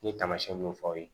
N ye taamasiyɛn mun fɔ aw ye